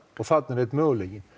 og þarna er einn möguleiki